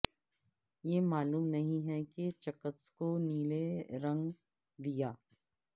یہ معلوم نہیں ہے کہ چکتسکوں نیلے رنگ دیا